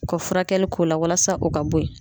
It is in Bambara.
U ka furakɛli k'o la walasa o ka bo ye.